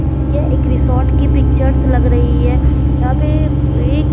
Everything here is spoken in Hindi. ये एक रिसॉर्ट की पिक्चर्स लग रही है यहां पे एक--